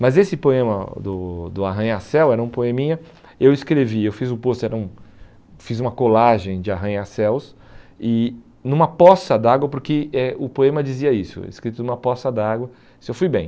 Mas esse poema do do Arranha-Céu era um poeminha, eu escrevi, eu fiz o pôster hum fiz uma colagem de Arranha-Céus e numa poça d'água, porque eh o poema dizia isso, escrito numa poça d'água, isso eu fui bem.